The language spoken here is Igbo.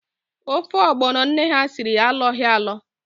Ofe ọgbọno nne ha siri alọghi alọ